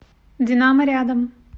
динамо рядом